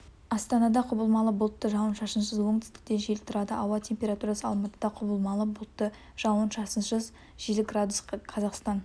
астанада құбылмалы бұлтты жауын-шашынсыз оңтүстіктен жел тұрады ауа температурасы алматыда құбылмалы бұлтты жауын-шашынсыз жел градус қазақстан